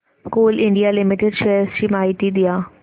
Coal India Limited shares ची माहिती द्या